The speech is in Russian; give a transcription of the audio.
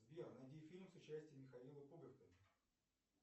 сбер найди фильм с участием михаила пуговкина